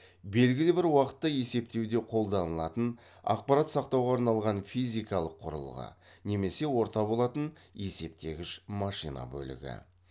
белгілі бір уақытта есептеуде қолданылатын ақпарат сақтауға арналған физикалық құрылғы немесе орта болатын есептегіш машина бөлігі